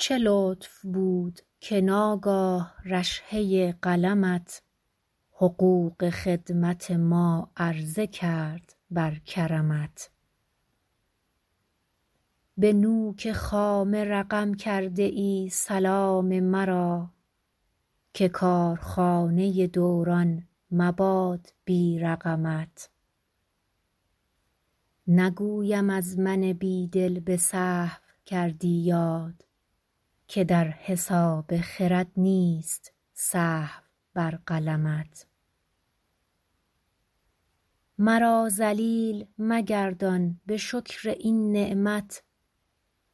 چه لطف بود که ناگاه رشحه قلمت حقوق خدمت ما عرضه کرد بر کرمت به نوک خامه رقم کرده ای سلام مرا که کارخانه دوران مباد بی رقمت نگویم از من بی دل به سهو کردی یاد که در حساب خرد نیست سهو بر قلمت مرا ذلیل مگردان به شکر این نعمت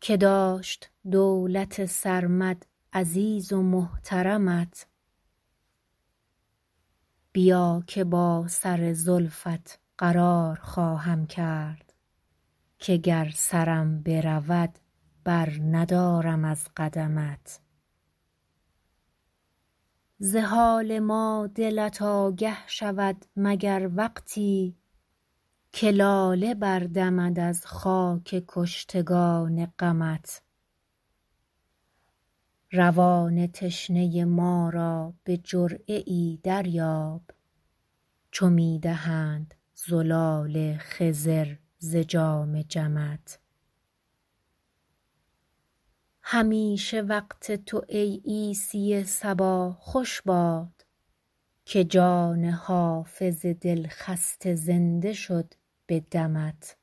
که داشت دولت سرمد عزیز و محترمت بیا که با سر زلفت قرار خواهم کرد که گر سرم برود برندارم از قدمت ز حال ما دلت آگه شود مگر وقتی که لاله بردمد از خاک کشتگان غمت روان تشنه ما را به جرعه ای دریاب چو می دهند زلال خضر ز جام جمت همیشه وقت تو ای عیسی صبا خوش باد که جان حافظ دلخسته زنده شد به دمت